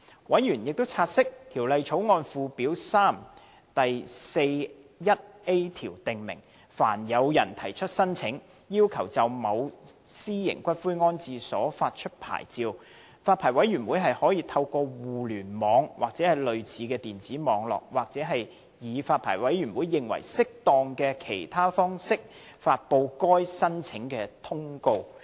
委員察悉，《條例草案》附表3第 41a 條訂明，凡有人提出申請，要求就某私營骨灰安置所發出牌照，發牌委員會可透過互聯網、或類似的電子網絡，或以發牌委員會認為適當的其他方式，發布該申請的通告。